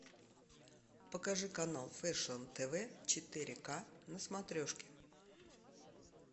покажи канал фэшн тв четыре к на смотрешке